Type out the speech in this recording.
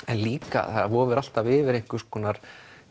en líka vofir alltaf yfir einhvers konar